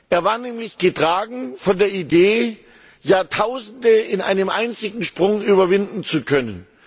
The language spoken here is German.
Er war nämlich getragen von der Idee, Jahrtausende in einem einzigen Sprung überwinden zu können.